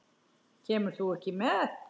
Kemur þú ekki með?